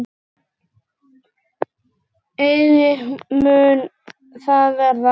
Eigi mun það verða.